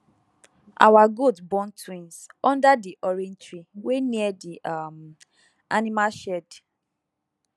our goat born twins under di orange tree wey near the um animal shed